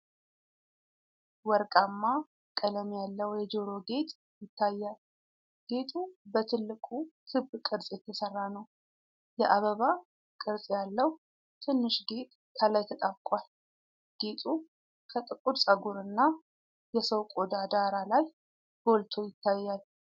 ወርቃማ ቀለም ያለው የጆሮ ጌጥ ይታያል። ጌጡ በትልቁ ክብ ቅርጽ የተሰራ ነው፣ የአበባ ቅርጽ ያለው ትንሽ ጌጥ ከላይ ተጣብቋል። ጌጡ ከጥቁር ፀጉርና የሰው ቆዳ ዳራ ላይ ጎልቶ ይታያል።